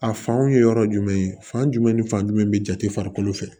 A fanw ye yɔrɔ jumɛn ye fan jumɛn ni fan jumɛn bɛ jate farikolo fɛ